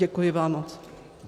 Děkuji vám moc.